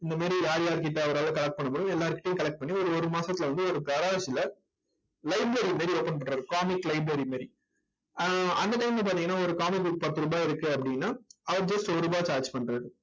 இந்த மாதிரி யார் யார்கிட்ட ஓரளவு collect பண்ணமுடியுமோ எல்லார்கிட்டயும் collect பண்ணி ஒரு ஒரு மாசத்தில வந்து ஒரு library மாதிரி open பண்றது comic library மாதிரி ஆஹ் அந்த time ல பார்த்தீங்கன்னா ஒரு comic book பத்து ரூபாய் இருக்கு அப்படின்னா அவர் just ஒரு ரூபாய் charge பண்றார்.